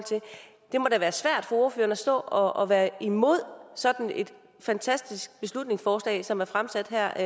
ordføreren at stå og og være imod sådan et fantastisk beslutningsforslag som er fremsat her